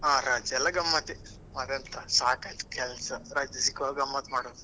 ಹ ರಜೆ ಎಲ್ಲ ಗಮ್ಮತ್ತೆ ಮತ್ತೆಂತ ಸಾಕಾಯ್ತು ಕೆಲ್ಸ ರಜೆ ಸಿಗುವಾಗ ಗಮ್ಮತ್ ಮಾಡುದು.